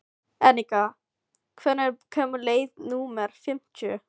Enika, hvenær kemur leið númer fimmtíu?